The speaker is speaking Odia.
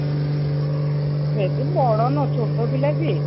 ବେଶୀ ବଡ ନୁହଁ ଛୋଟ ପିଲା ସିଏ